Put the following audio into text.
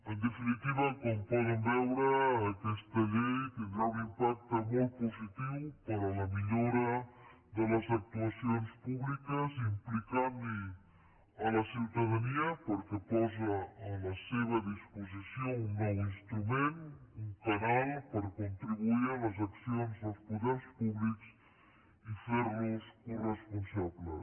en definitiva com poden veure aquesta llei tindrà un impacte molt positiu per a la millora de les actuacions públiques implicant hi la ciutadania perquè posa a la seva disposició un nou instrument un canal per contribuir a les accions dels poders públics i fer los coresponsables